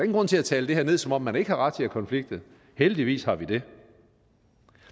grund til at tale det her ned som om man ikke har ret til at konflikte heldigvis har vi det